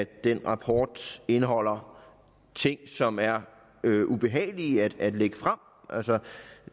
den rapport indeholder ting som er ubehagelige at lægge frem